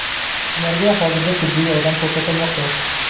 ularga hozirda tibbiy yordam ko‘rsatilmoqda.